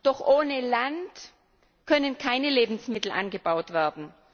Doch ohne Land können keine Lebensmittel angebaut werden.